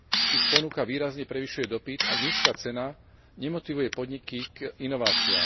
Ich ponuka výrazne prevyšuje dopyt a nízka cena nemotivuje podniky k inováciám.